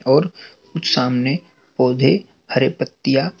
और सामने पौधे हरे पत्तियां--